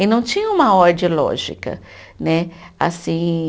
E não tinha uma ordem lógica né assim